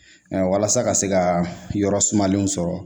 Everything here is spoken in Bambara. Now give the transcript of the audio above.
walasa ka se ka yɔrɔ sumalenw sɔrɔ